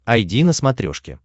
айди на смотрешке